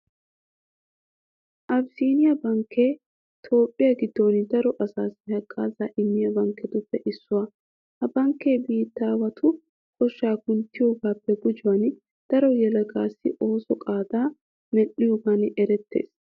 Abissiiniya bankkee toophphiya giddon daro asaassi haggaazaa immiya bankketuppe issuwa. Ha bankkee biittaawatu koshshaa kunttiyogaappe gujuwan daro yelagatussi oosuwa qaadaa medhdhiyogan erettees.